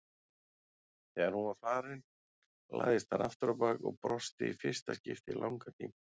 Þegar hún var farin lagðist hann afturábak og brosti í fyrsta skipti í langan tíma.